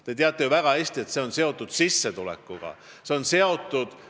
Te teate ju väga hästi, et see on sissetulekuga seotud.